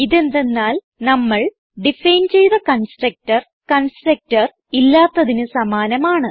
ഇതെന്തന്നാൽ നമ്മൾ ഡിഫൈൻ ചെയ്ത കൺസ്ട്രക്ടർ constructorഇല്ലാത്തതിന് സമാനമാണ്